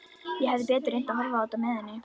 Ég hefði betur reynt að horfa á þetta með henni.